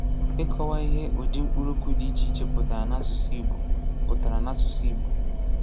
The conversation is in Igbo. Ịkọwa ihe ụdị mkpụrụokwu dị iche iche pụtara n’asụsụ Igbo. pụtara n’asụsụ Igbo.